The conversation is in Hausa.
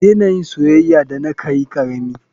Kadena yin soyaya Dana kayikarami.